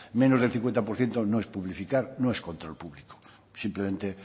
menos del cincuenta por ciento no es publificar no es control público simplemente